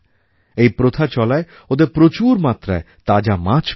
এই প্রথা চলায় ওদের প্রচুর মাত্রায় তাজা মাছ মেলে